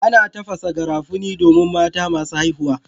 Ana tafasa garafuni domin mata masu haihuwa.